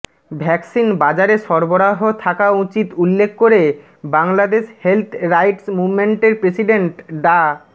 ভ্যাসকিন বাজারে সরবরাহ থাকা উচিত উল্লেখ করে বাংলাদেশ হেলথ রাইটস মুভমেন্টের প্রেসিডেন্ট ডা